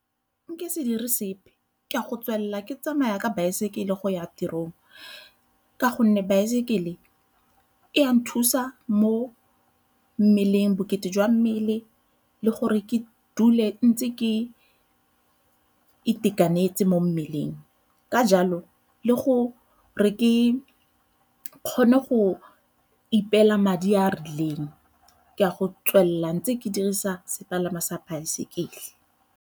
Nka se dire sepe ke a go tswelela ke tsamaya ka baesekele go ya tirong ka gonne baesekele e a nthusa mo mmeleng, bokete jwa mmele le gore ke dule ntse ke itekanetse mo mmeleng. Ka jalo le go re kgone go ipeela madi a a rileng ke a go tswelela ntse ke dirisa sepalangwa sa baesekele.